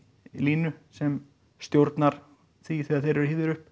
línu sem stjórnar því þegar þeir eru hífðir upp